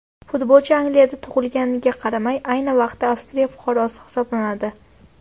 Futbolchi Angliyada tug‘ilganiga qaramay, ayni vaqtda Avstraliya fuqarosi hisoblanadi.